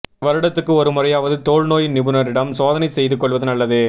வருடத்துக்கு ஒரு முறையாவது தோல் நோய் நிபுணரிடம் சோதனை செய்துகொள்வது நல்லது